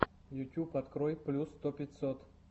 ютьюб открой плюс сто пятьсот